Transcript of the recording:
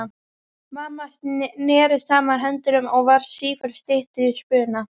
Mamma neri saman höndunum og varð sífellt styttri í spuna.